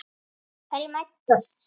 Hverjir mætast?